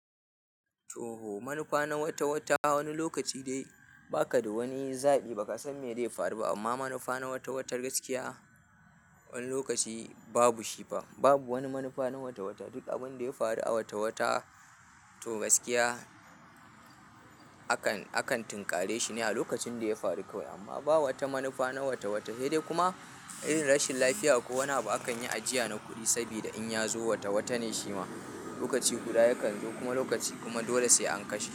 Toh! Manufa na wata-wata wani lokaci dai ba ka da wani zaɓi, ba ka san me zai faru ba amma manufa na wata-watar gaskiya wani lokaci babu shi fa. Babu wani manufa na wata-wata, duk abin da ya faru a wata-wata to gaskiya, akan, akan tunkare shi ne a lokacin da ya faru kawai amma ba wata manufa na wata-wata, sai dai kuma irin rashin lafiya ko wani abu a kan yi ajiya na kuɗi sabida in ya zo wata-watane shi ma lokaci guda yakan zo kuma lokaci kuma dole sai an kashe.